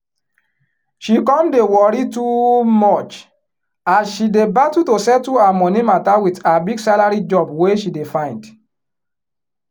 she come dey worry too much as she dey battle to settle her money matter with her big salary job wey she dey find